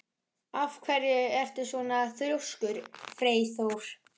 Af hverju ertu svona þrjóskur, Freyþór?